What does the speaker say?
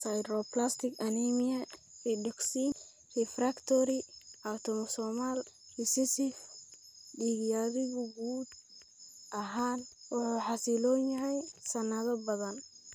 Sideroblastic anemia pyridoxine refractory autosomal recessive, dhiig yarigu guud ahaan wuu xasiloon yahay sanado badan.